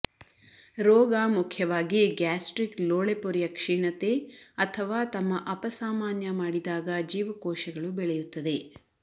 ರೋಗ ಮುಖ್ಯವಾಗಿ ಗ್ಯಾಸ್ಟ್ರಿಕ್ ಲೋಳೆಪೊರೆಯ ಕ್ಷೀಣತೆ ಅಥವಾ ತಮ್ಮ ಅಪಸಾಮಾನ್ಯ ಮಾಡಿದಾಗ ಜೀವಕೋಶಗಳು ಬೆಳೆಯುತ್ತದೆ